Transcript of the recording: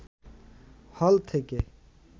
হল থেকে